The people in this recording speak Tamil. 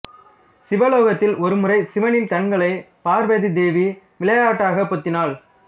சிவலோகத்தில் ஒருமுறை சிவனின் கண்களை பார்வதி தேவி விளையாட்டாக பொத்தினாள்